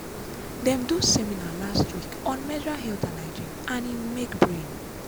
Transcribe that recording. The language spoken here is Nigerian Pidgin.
dem do seminar last week on menstrual health and hygiene and e make brain.